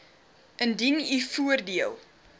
indien u voordeel